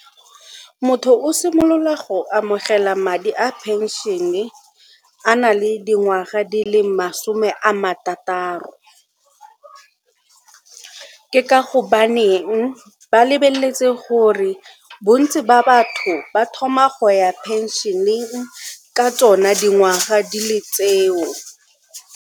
Motho o simolola go amogela madi a phenšene a na le dingwaga di le masome a marataro ke ka gobaneng ba lebeletse gore bontsi ba batho ba thoma go ya phenšeneng ka tsona dingwaga di le tseo.